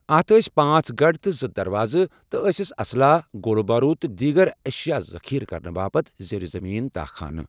اتھ ٲسۍ پانٛژھ گڑھ تہٕ زٕ دروازٕ تہٕ ٲسِس اسلحہ، گولہ بارود تہٕ دیگر اشیاء ذخیرہ کرنہٕ باپتھ زیر زمین تاہ خانہٕ ۔